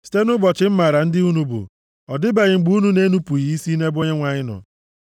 Site nʼụbọchị m maara ndị unu bụ, ọ dịbeghị mgbe unu na-enupughị isi nʼebe Onyenwe anyị nọ.